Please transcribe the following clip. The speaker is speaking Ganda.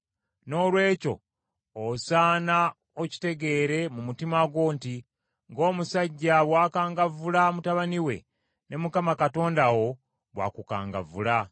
Noolwekyo osaana okitegeere mu mutima gwo nti, Ng’omusajja bw’akangavvula mutabani we, ne Mukama Katonda wo bw’akukangavvula.